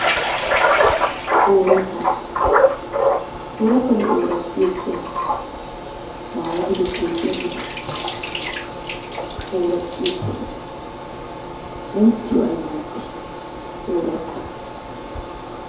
Oorattaba! oorattabi ooraxxi ekkiyaba maayo gido keetta gido ooraxxi ekkiyaba! inttiyo ay malatii oorattabay?